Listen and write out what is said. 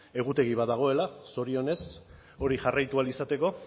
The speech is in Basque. egutegi bat dagoela zorionez hori jarraitu ahal izateko